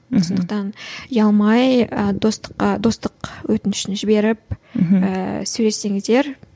мхм сондықтан ұялмай ы достыққа достық өтінішін жіберіп ііі сөйлессеңіздер